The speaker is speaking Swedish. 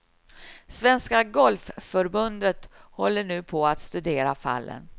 Svenska golfförbundet håller nu på att studera fallen.